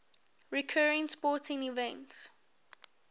recurring sporting events